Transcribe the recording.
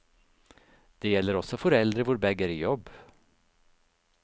Det gjelder også foreldre hvor begge er i jobb.